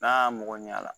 N'a y'a mɔgɔ ɲɛ a la